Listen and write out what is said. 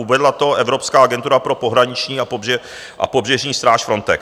Uvedla to Evropská agentura pro pohraniční a pobřežní stráž Frontex.